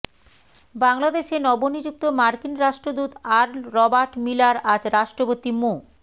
বাংলাদেশে নবনিযুক্ত মার্কিন রাষ্ট্রদূত আর্ল রবার্ট মিলার আজ রাষ্ট্রপতি মো